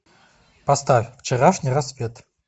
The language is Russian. поставь вчерашний рассвет